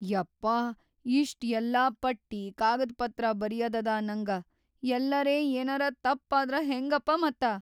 ಯಪ್ಪಾ, ಇಷ್ಟ್‌ ಎಲ್ಲಾ ಪಟ್ಟಿ, ಕಾಗದ್‌ಪತ್ರ ಬರೀಯದದ ನಂಗ, ಯಲ್ಲರೆ ಯೇನರ ತಪ್ ಆದ್ರ ಹೆಂಗಪ ಮತ್ತ.